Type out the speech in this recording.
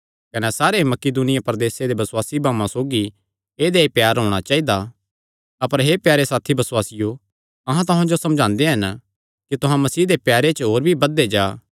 कने सारे मकिदुनिया प्रदेसे दे बसुआसी भाऊआं सौगी ऐदेया ई प्यार होणा चाइदा अपर हे प्यारे साथी बसुआसियो अहां तुहां जो समझांदे हन कि तुहां मसीह दे प्यारे च होर भी बधदे जा